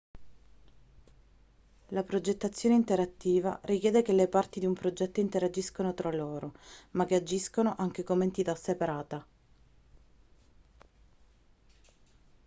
la progettazione interattiva richiede che le parti di un progetto interagiscano tra loro ma che agiscano anche come entità separata